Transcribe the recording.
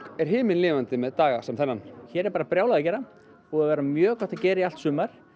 er himinlifandi með daga sem þennan hér er bara brjálað að gera búið að vera mjög gott að gera í allt sumar